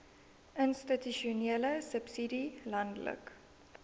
institusionele subsidie landelike